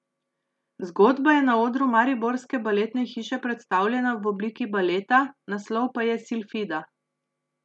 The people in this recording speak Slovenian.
Zgodba je na odru mariborske baletne hiše predstavljena v obliki baleta, naslov pa je Silfida.